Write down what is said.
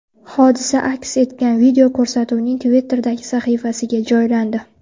Hodisa aks etgan video ko‘rsatuvning Twitter’dagi sahifasiga joylandi .